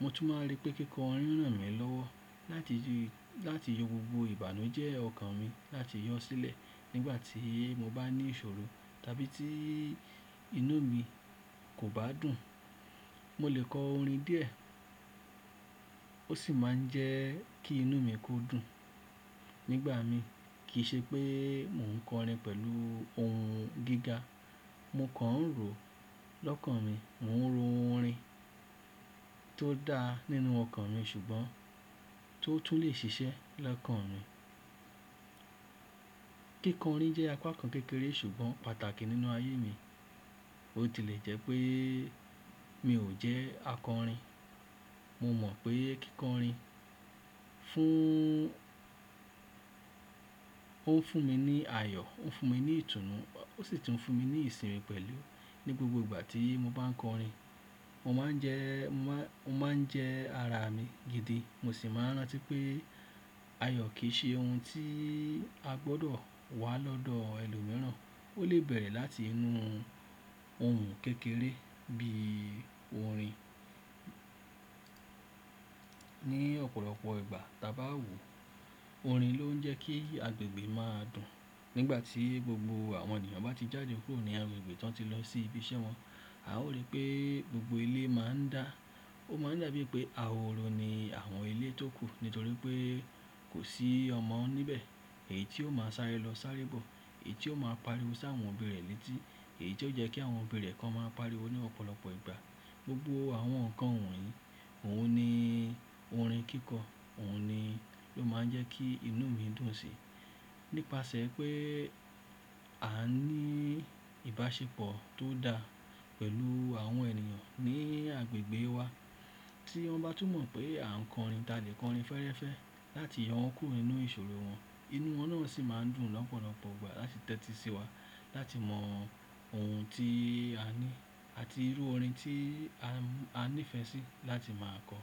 Mo tún máa ń rí pé kíkọrin ràn mí lọ́wọ́ láti ju, láti yọ gbogbo ìbànújẹ́ ọkàn mi láti yọ sílẹ̀. Nígbà tí mo bá ní ìṣòro tàbí tí inú mi kò bá dùn, mo lè kọ orin díẹ̀ ó sì máa ń jẹ́ kí inú mi kú dùn. Nígbà mi, kì í ṣe pé mò ń kọrin pẹ̀lú ohun gíga. Mo kàn ń ro lọ́kàn mi, mò ń ro orin tó da nínú ọkàn mi ṣùgbọ́n tó tún lè ṣiṣẹ́ lọ́kàn mi. Kíkọrin jẹ́ apá kan kékeré ṣùgbọ́n pàtàkì nínú ayé mi. Ó tilẹ̀ jẹ́ pé mi ò jẹ́ akọrin. Mo mọ̀ pé kíkọrin fún-- ó ń fún mi ní ayọ̀, ó ń fún mi ní ìtùnú, ó sì tún fún mi ní ìsinmi pẹ̀lú. Ní gbogbo ìgbà tí mo bá ń kọrin, mo máa ń jẹ́, mo máa ń, ó máa ń jẹ́ ara mi gidi. Mo sì máa ń rántí pé ayọ̀ kì í ṣe ohun tí a gbọdọ̀ wá lọ́dọ̀ ẹlòmíràn, ó lè bẹ̀rẹ̀ láti inú ohun kékeré bí i orin. Ní ọ̀pọ̀lọpọ̀ ìgbà, tà bá wò ó, orin ló ń jẹ́ kí agbègbè máa dùn. Nígbà tí gbogbo àwọn ènìyàn bá ti jáde kúrò ní agbègbè tán tí lọ sí ibi iṣẹ́ wọn, a ó rí pé gbogbo ilé máa ń dá. Ó máa ń dà bíi pé ahòro ni àwọn ilé tókù nítorí pé kò sí ọmọ níbẹ̀. Èyí tí ó máa sáré lọ sáré bọ̀, èyí tí ó máa pariwo sáwọn òbí rẹ̀ létí, èyí tí ó jẹ́ kí àwọn òbí rẹ̀ kan máa pariwo ní ọ̀pọ̀lọpọ̀ ìgbà. Gbogbo àwọn nǹkan wọ̀nyí, òun ni orin kíkọ, òun ni ló máa ń jẹ́ kí inú mi dùn sí. Nípasẹ̀ pé a ní ìbáṣepọ̀ tó dá pẹ̀lú àwọn ènìyàn ní agbègbè wa tí wọ́n bá tún mọ̀ pé à ń kọrin, ta lè kọrin fẹ́ẹ́rẹ́fẹ́ láti yọ òkú inú ìṣòro wọn, inú wọn náà sì máa ń dùn lọ́pọ̀lọpọ̀ ìgbà láti tẹ́tí sí wa láti mọ ohun tí a ní àti irú orin tí a ní ìfẹ́ sí láti máa kọ.